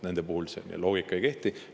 Nende puhul see loogika ei kehti.